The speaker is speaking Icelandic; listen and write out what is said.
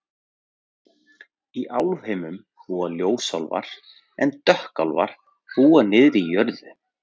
Í Álfheimum búa ljósálfar en dökkálfar búa niðri í jörðu.